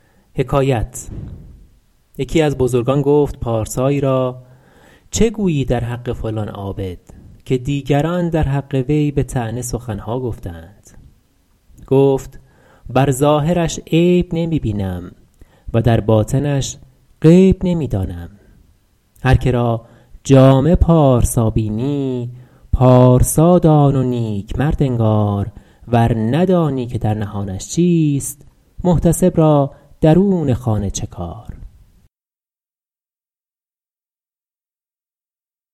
یکی از بزرگان گفت پارسایی را چه گویی در حق فلان عابد که دیگران در حق وی به طعنه سخن ها گفته اند گفت بر ظاهرش عیب نمی بینم و در باطنش غیب نمی دانم هر که را جامه پارسا بینی پارسا دان و نیک مرد انگار ور ندانی که در نهانش چیست محتسب را درون خانه چه کار